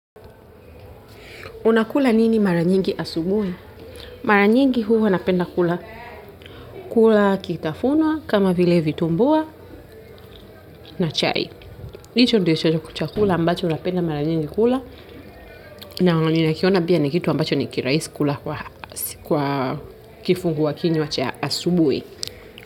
Unakula nini mara nyingi asubuhi? Mara nyingi huwa napenda kula kitafunwa, kama vile vitumbua na chai. Hicho ndicho chakula ambacho napenda mara nyingi kula na ninakiona pia ni kitu ambacho ni kirahisi kula kwa kifungua kinywa cha asubuhi.